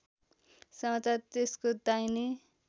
समाचार त्यसको दाहिने